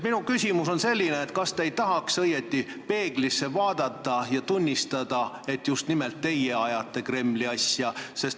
Minu küsimus on selline: kas te ei tahaks õieti peeglisse vaadata ja tunnistada, et just nimelt teie ajate Kremli asja?